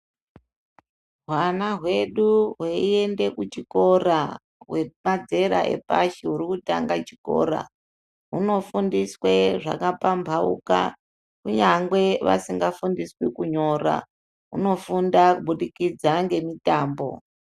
Hwana hwedu hweiende kuchikora hwepadzera yepashi huri kutanga chikora hunofundiswe zvakapambauka kunyangwe vasingafundiswi kunyora. Hunofunda kubudikidza ngemitambo.